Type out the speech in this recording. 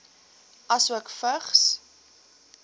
asook vigs